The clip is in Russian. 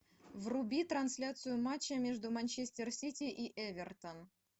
вруби трансляцию матча между манчестер сити и эвертон